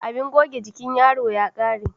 Abin goge jikin yaro ya ƙare